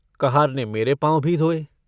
कहार ने मेरे पाँव भी धोये।